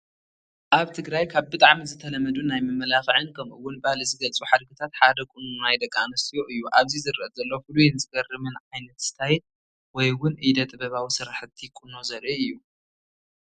ኣብ ትግራይ ካብ ብጣዕሚ ዝተለመዱን ናይ መመላኽዕን ከምኡ ውን ባህሊ ዝገልፁ ሓድግታት ሓደ ቁኖ ናይ ደቂ ኣንስትዮ እዩ፡፡ ኣብዚ ዝረአ ዘሎ ፍሉይን ዝገርምን ዓ/ት ስታይል ወይ እውን ኢደ ጥበባዊ ስራሕቲ ቁኖ ዘርኢ እዩ፡፡